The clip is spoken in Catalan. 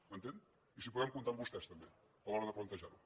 m’entén i si podem comptar amb vostès també a l’hora de plantejar ho